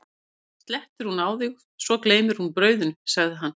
fyrst slettir hún á þig og svo gleymir hún brauðinu, sagði hann.